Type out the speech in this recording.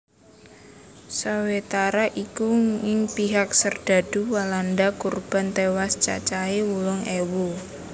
Sawetara iku ing pihak serdadu Walanda kurban tewas cacahé wolung ewu